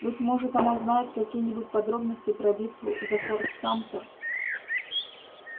быть может она знает какие-нибудь подробности про битву за форт самтер